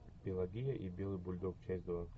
пелагея и белый бульдог часть два